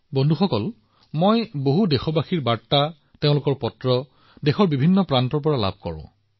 বন্ধুসকল মই দেশৰ সকলো কোণৰ পৰা বহুতো দেশবাসীৰ পৰা বাৰ্তা তেওঁলোকৰ চিঠি লাভ কৰো